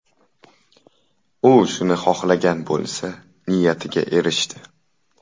U shuni xohlagan bo‘lsa, niyatiga erishdi.